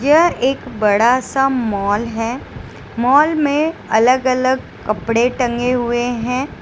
यह एक बड़ा सा मॉल है मॉल में अलग अलग कपड़े टंगे हुए है।